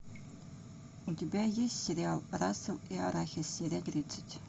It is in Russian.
у тебя есть сериал рассол и арахис серия тридцать